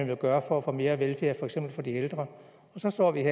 vil gøre for at få mere velfærd for eksempel for de ældre så står vi